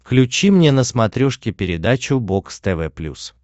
включи мне на смотрешке передачу бокс тв плюс